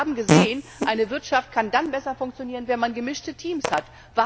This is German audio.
Wir haben gesehen Eine Wirtschaft kann besser funktionieren, wenn man gemischte Teams hat.